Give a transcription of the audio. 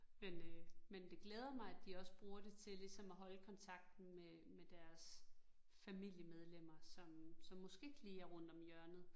Men øh men det glæder mig, at de også bruger det til ligesom at holde kontakten med med deres familiemedlemmer, som som måske ikke lige er rundt om hjørnet